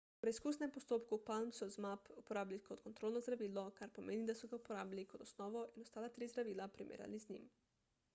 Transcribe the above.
v preizkusnem postopku palm so zmapp uporabili kot kontrolno zdravilo kar pomeni da so ga uporabili kot osnovo in ostala tri zdravila primerjali z njim